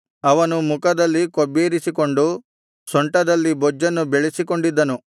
ಅವನು ಮುಖದಲ್ಲಿ ಕೊಬ್ಬೇರಿಸಿಕೊಂಡು ಸೊಂಟದಲ್ಲಿ ಬೊಜ್ಜನ್ನು ಬೆಳೆಸಿಕೊಂಡಿದ್ದನು